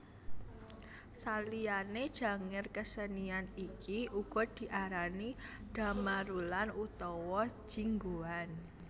Saliyané Janger kasenian iki uga diarani Dhamarulan utawa Jinggoan